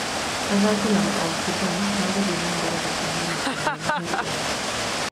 Athaki na maobithaa meguthiĩ nambere gũthimwo maita merĩ harĩ o wiki.